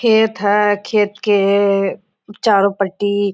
खेत है खेत के चारों पट्टी--